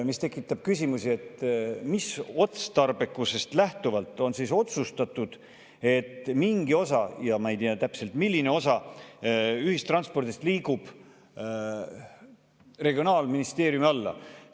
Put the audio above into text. See tekitab küsimuse: mis otstarbekusest lähtuvalt see on otsustatud, et mingi osa – ja ma ei tea täpselt, milline osa – ühistranspordi liigub regionaalministeeriumi alla?